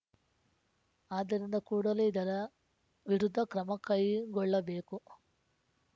ಆದ್ದರಿಂದ ಕೂಡಲೇ ಇದರ ವಿರುದ್ಧ ಕ್ರಮ ಕೈಗೊಳ್ಳಬೇಕು